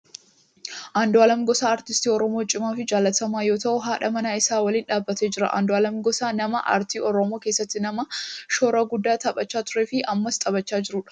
Andu'aalem Gosaa aartistii oromoo cimaa fi jaalatamaa yoo ta'u haadha manaa isaa waliin dhaabbatee jira. Andu'aalem Gosaa nama aartii oromoo keessatti nama shoora guddaa taphachaa turee fi ammas taphachaa jirudha.